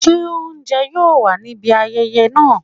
se ounjẹ yoo wa ni ibi ayẹyẹ naa?